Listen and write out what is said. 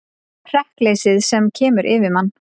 Hrekkleysið sem kemur yfir mann.